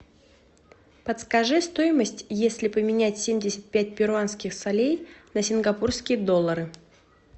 подскажи стоимость если поменять семьдесят пять перуанских солей на сингапурские доллары